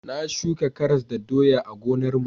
Na shuka karas da doya a gonar mu